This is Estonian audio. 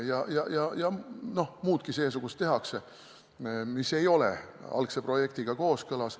Ja tehakse muudki seesugust, mis ei ole algse projektiga kooskõlas.